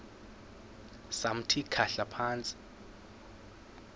samthi khahla phantsi